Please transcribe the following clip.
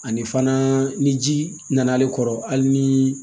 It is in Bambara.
Ani fana ni ji nana ale kɔrɔ hali ni